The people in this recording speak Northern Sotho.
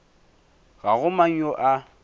ga go mang yo a